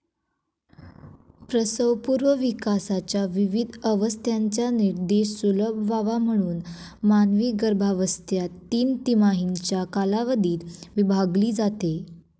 प्रसवपूर्व विकासाच्या विविध अवस्थांचा निर्देश सुलभ व्हावा म्हणून मानवी गर्भावस्था तीन तिमाहींच्या कालावधीत विभागली जाते.